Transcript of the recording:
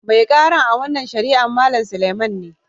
Mai karan a' wanan shari'an Mallam Suleiman ne.